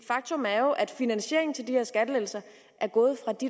faktum er jo at finansieringen til de her skattelettelser